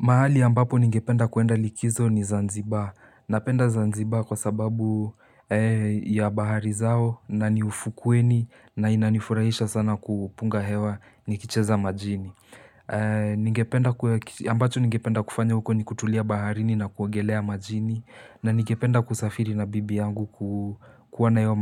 Mahali ambapo ningependa kuenda likizo ni Zanzibar. Napenda Zanzibar kwa sababu ya bahari zao na ni ufukweni na inanifurahisha sana kupunga hewa nikicheza majini. Ambacho ningependa kufanya huko ni kutulia baharini na kuogelea majini. Na ningependa kusafiri na bibi yangu kuona hiyo